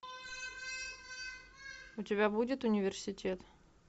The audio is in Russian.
у тебя будет университет